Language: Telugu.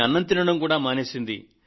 అన్నం తినడం కూడా మానేసింది